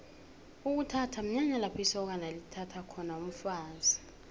ukuthatha mnyanya lapho isokana lithatha khona umfazi